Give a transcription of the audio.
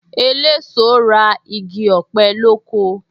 Eléso ra igi ọ̀pẹ lóko